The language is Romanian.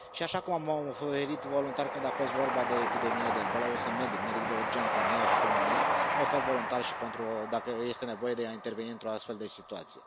Și, așa cum m am oferit voluntar când a fost vorba de epidemia de Ebola, eu fiind medic, medic de urgență în Iași, în România, mă ofer voluntar și dacă este nevoie să se intervină într o astfel de situație.